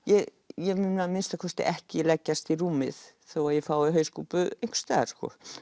ég ég mun að minnsta kosti ekki leggjast í rúmið þó ég fái hauskúpu einhvers staðar